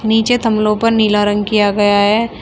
नीचे थामलों पर नीला रंग किया गया है।